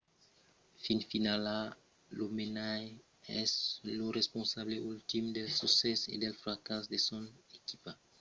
fin finala lo menaire es lo responsable ultim del succès e del fracàs de son equipa